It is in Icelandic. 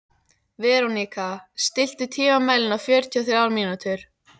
Veróníka, stilltu tímamælinn á fjörutíu og þrjár mínútur.